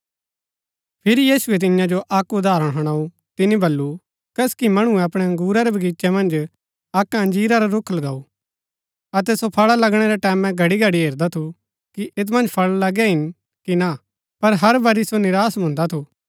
फिरी यीशुऐ तियां जो अक्क उदाहरण हणाऊ तिनी बल्लू कसकी मणुऐ अपणै बगीचे मन्ज अक्क अंजीरा रा रूख लगऊ अतै सो फळा लगणै रै टैमैं घड़ीघड़ी हेरदा थू कि ऐत मन्ज फळ लगै हिन कि ना पर हर बरी सो निराश भुन्दा थू